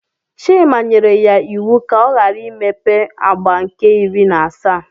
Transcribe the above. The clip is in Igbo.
Chima nyere ya iwu ka ọ ghara imepe agba nke iri na asaa.